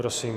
Prosím.